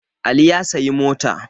Ali ya sayi mota